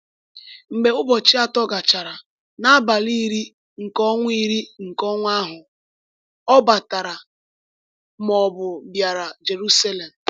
Mgbe ụbọchị atọ gachara, n’abalị iri nke ọnwa iri nke ọnwa ahụ, ọ ‘batara,’ ma ọ bụ bịara Jeruselem.